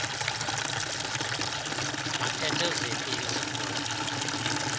aphethe ziphi izikhundla